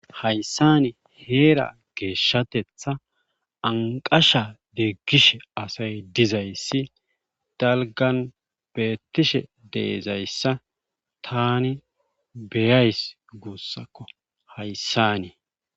Hayssani heera geeshshatetha anqasha deeggishe asay dizayssi dalgan beettishe deezayssa tani beyays guussakko hayssanii